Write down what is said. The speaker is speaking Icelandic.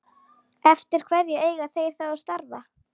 Eftir hverju eiga þeir þá að starfa?